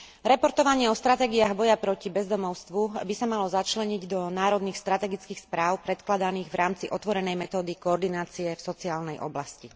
Reportovanie o stratégiách boja proti bezdomovstvu by sa malo začleniť do národných strategických správ predkladaných v rámci otvorenej metódy koordinácie v sociálnej oblasti.